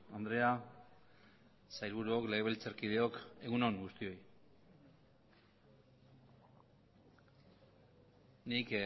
andrea sailburuok legebiltzarkideok egun on guztioi nik